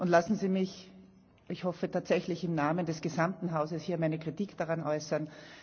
Lassen Sie mich ich hoffe, tatsächlich im Namen des gesamten Hauses hier meine Kritik daran äußern!